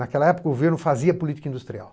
Naquela época o governo fazia política industrial.